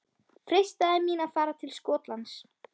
Freistaði mín að fara til Skotlands?